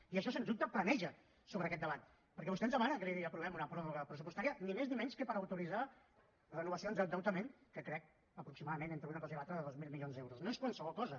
i això sens dubte plana sobre aquest debat perquè vostè ens demana que li aprovem una pròrroga pressupostària ni més ni menys que per autoritzar renovacions d’endeutament que crec aproximadament entre una cosa i l’altra de dos mil milions d’euros no és qualsevol cosa